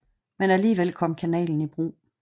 Men alligevel kom kanalen i brug